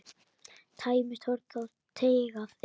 Tæmist horn þá teygað er.